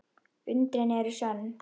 Undrin eru sönn.